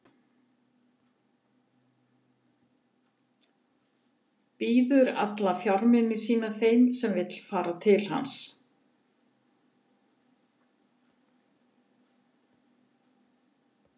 Býður alla fjármuni sína þeim sem vill fara í hans stað.